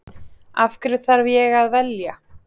Af hverju þarf ég að velja?